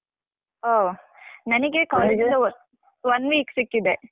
ಆ ನನಿಗೆ ಇಂದ one week ಸಿಕ್ಕಿದೆ.